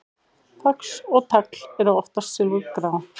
Fax og tagl eru oftast silfurgrá.